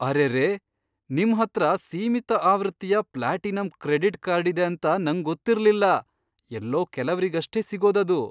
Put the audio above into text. ಅರೆರೇ! ನಿಮ್ಹತ್ರ ಸೀಮಿತ ಆವೃತ್ತಿಯ ಪ್ಲಾಟಿನಂ ಕ್ರೆಡಿಟ್ ಕಾರ್ಡ್ ಇದೆ ಅಂತ ನಂಗೊತ್ತಿರ್ಲಿಲ್ಲ. ಎಲ್ಲೋ ಕೆಲವ್ರಿಗಷ್ಟೇ ಸಿಗೋದದು.